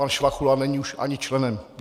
Pan Švachula není už ani členem.